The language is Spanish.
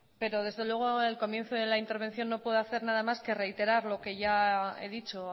pero desde luego el comienzo de la intervención no puedo hacer nada más que reiterar lo que ya he dicho